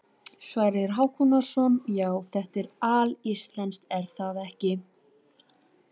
Sverrir Hákonarson: Já, þetta er alíslenskt er það ekki?